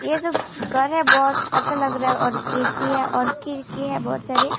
ये जो घर है बहुत अच्छा लग रहा है और गेट भी है और खिड़की है और बहुत सारे --